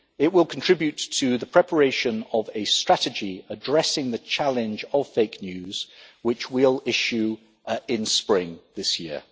The group will contribute to the preparation of a strategy addressing the challenge of fake news, which we will issue in spring this year.